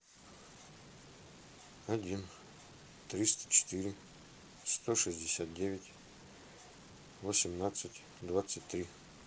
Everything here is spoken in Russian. один триста четыре сто шестьдесят девять восемнадцать двадцать три